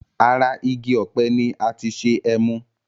Ara igi òpe ni ati ṣe emu